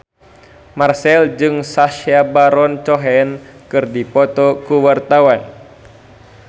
Marchell jeung Sacha Baron Cohen keur dipoto ku wartawan